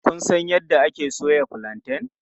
Kun san yadda ake soya fulanten?